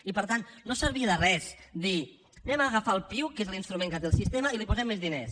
i per tant no servia de res dir anem a agafar el piuc que és l’instrument que té el sistema i li posem més diners